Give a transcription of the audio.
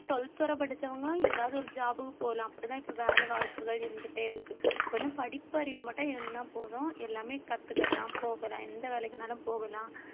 twelfth வரை படிச்சவங்களும் ஏதாவது ஒரு job க்கு போலாம் அப்படிதான் இப்ப வேலை வாய்ப்புகள் இருந்துட்டே இருக்கு கொஞ்சம் படிப்பறிவு மட்டும் இருந்ததுன்னா போதும் எல்லாமே கத்துக்கலாம் போகலாம் எந்த வேலைக்குனாலும் போகலாம்